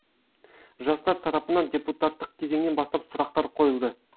жастар тарапынан депутаттық кезеңнен бастап сұрақтар қойылды